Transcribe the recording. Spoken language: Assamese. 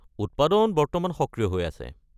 উৎপাদন বর্তমান সক্রিয় হৈ আছে।